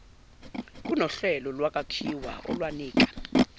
kunohlelo lwakhiwa olwalunika